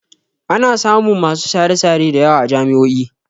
Ana samun masu share-share da yawa a jami'o'i.